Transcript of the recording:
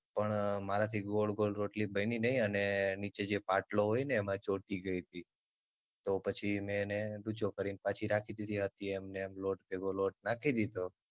પણ મારાથી ગોળ ગોળ રોટલી બની નય અને નીચેજે પાટલો હોયને એમાં ચોટી ગયતી તી તો પછી મે એને ડૂચો કરીને પાછી રાખી દીધી હતી એમનેમ લોટ ભેગો લોટ રાખી દીધો.